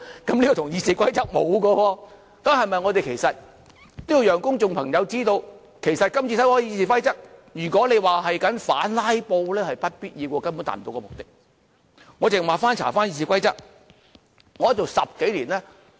這與《議事規則》沒有關係的，我們要讓公眾知道，其實今次修改《議事規則》，與反"拉布"是沒有必然關係的，根本達不到目的。